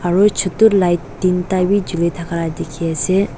aru chutu light teenta bi juli thakalai dikhiase.